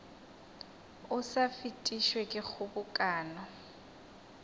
o sa fetišwe ke kgobokano